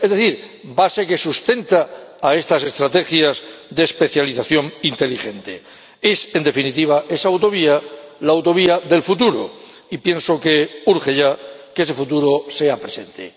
Es decir, la base que sustenta a estas estrategias de especialización inteligente es, en definitiva, esa autovía, la autovía del futuro, y pienso que urge ya que ese futuro sea presente.